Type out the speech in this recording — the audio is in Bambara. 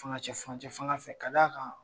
Fangacɛ furancɛ fanga fɛ ka da kan